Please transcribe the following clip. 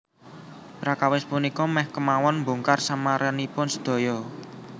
Prakawis punika mèh kémawon mbongkar samaranipun sedaya